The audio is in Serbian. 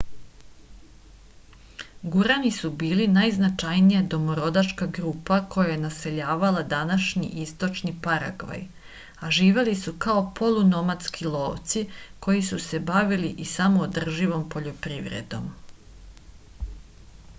gurani su bili najznačajnija domorodačka grupa koja je naseljavala današnji istočni paragvaj a živeli su kao polunomadski lovci koji su se bavili i samoodrživom poljoprivredom